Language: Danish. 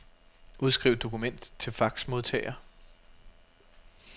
Udskriv dokument til faxmodtager.